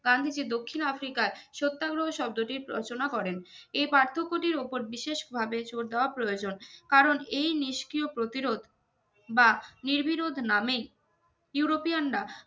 গান্ধীজি দক্ষিণ আফ্রিকায় সত্যাগ্রহ শব্দটির রচনা করেন এই পার্থক্য টির ওপর বিশেষ ভাবে জোর দেওয়া প্রয়োজন কারন এই নিষ্ক্রিয় প্রতিরোধ বা নির্বিরোধ নামেই ইউরোপিয়ানরা